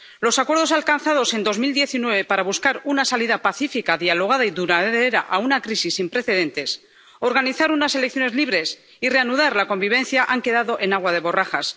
Los acuerdos alcanzados en 2019 para buscar una salida pacífica, dialogada y duradera a una crisis sin precedentes, organizar unas elecciones libres y reanudar la convivencia han quedado en agua de borrajas.